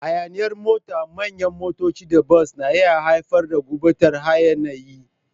Hayaniyar mota, manyan motoci, da bas na iya haifar da gurɓatar hayaniya.